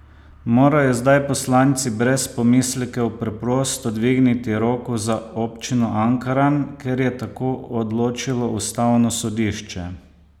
Morajo zdaj poslanci brez pomislekov preprosto dvigniti roko za občino Ankaran, ker je tako odločilo ustavno sodišče?